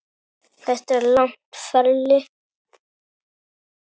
Þetta er langt ferli.